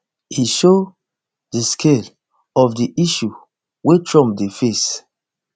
e show di scale of di issue wey trump dey face